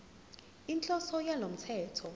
inhloso yalo mthetho